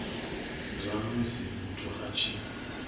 zwa musi muthu a tshi